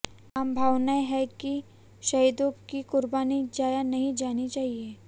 आम भावनाएं हैं कि शहीदों की कुर्बानी जाया नहीं जानी चाहिए